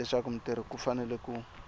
leswaku mutirhi u fanele ku